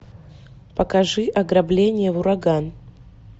покажи ограбление в ураган